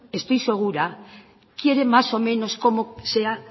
estoy segura quiere más o menos cómo sea